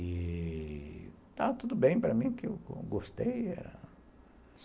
E estava tudo bem para mim, porque eu gostei.